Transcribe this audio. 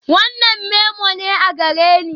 Wannan memo ne a gareni?